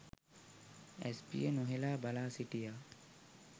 ඇස් පිය නොහෙළා බලා සිටියා.